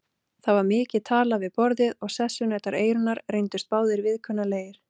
Það var mikið talað við borðið og sessunautar Eyrúnar reyndust báðir viðkunnanlegir.